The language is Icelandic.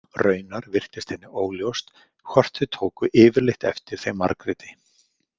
Raunar virtist henni óljóst hvort þau tóku yfirleitt eftir þeim Margréti.